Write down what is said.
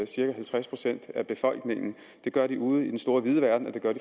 cirka halvtreds procent af befolkningen det gør de ude i den store vide verden og det gør